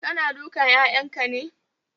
Kana dukan 'ya'yanka ne?